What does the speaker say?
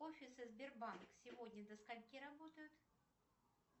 офисы сбербанк сегодня до скольки работают